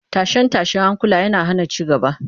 Tashe-tashen hankula yana hana ci gaba